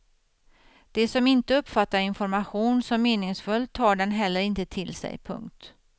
De som inte uppfattar information som meningsfull tar den heller inte till sig. punkt